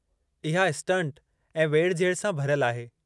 इहा स्टंट ऐं वेढि झेढि सां भरियलु आहे।